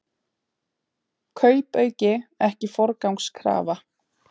Kaupauki ekki forgangskrafa